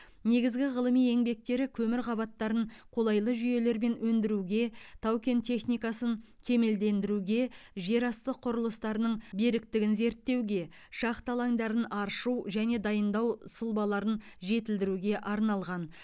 негізгі ғылыми еңбектері көмір қабаттарын қолайлы жүйелермен өндіруге тау кен техникасын кемелдендіруге жер асты құрылыстарының беріктігін зерттеуге шахта алаңдарын аршу және дайындау сұлбаларын жетілдіруге арналған